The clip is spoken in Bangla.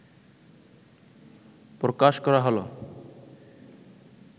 প্রকাশ করা হলো